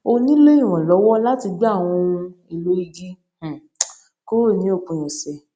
ó nílò ìrànlówó láti gbé àwọn ohun èèlò igi um kúrò ní òpin òsè